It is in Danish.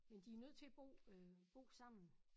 Men de er nødt til bo øh bo sammen